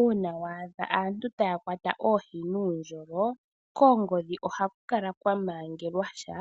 Uuna waadha antu taya kwata oohi nuundjolo koongodhi ohaku kala kwa mangelwa sha.